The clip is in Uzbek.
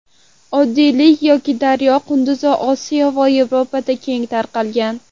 Oddiy yoki daryo qunduzi Osiyo va Yevropada keng tarqalgan.